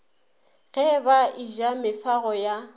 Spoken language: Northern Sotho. ge ba eja mefago ya